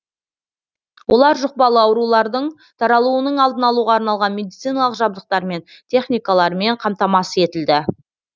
олар жұқпалы аурулардың таралуының алдын алуға арналған медициналық жабдықтармен техникалармен қамтамасыз етілді